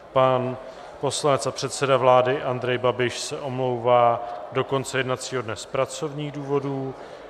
Pan poslanec a předseda vlády Andrej Babiš se omlouvá do konce jednacího dne z pracovních důvodů.